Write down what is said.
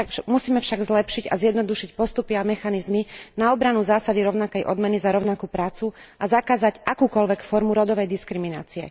Musíme však zlepšiť a zjednodušiť postupy a mechanizmy na obranu zásady rovnakej odmeny za rovnakú prácu a zakázať akúkoľvek formu rodovej diskriminácie.